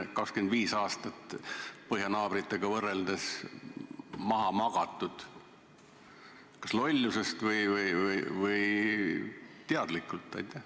25 aastat on põhjanaabritega võrreldes maha magatud, kas lollusest või teadlikult.